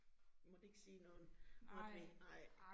Vi måtte ikke sige noget, måtte vi nej